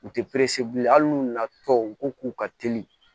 U tɛ hali n'u nana tɔw u ko k'u ka teli